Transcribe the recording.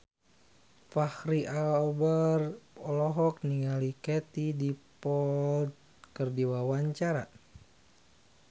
Fachri Albar olohok ningali Katie Dippold keur diwawancara